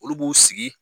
Olu b'u sigi